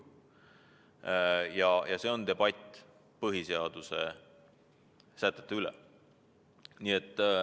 See on debatt põhiseaduse sätete üle.